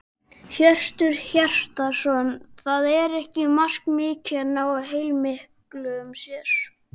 Hjörtur Hjartarson: Það er ekki markmiðið að ná helmingaskiptum hér?